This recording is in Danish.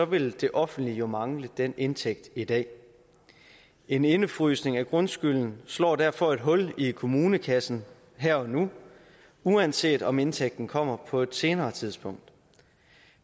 vil det offentlige jo mangle den indtægt i dag en indefrysning af grundskylden slår derfor et hul i kommunekassen her og nu uanset om indtægten kommer på et senere tidspunkt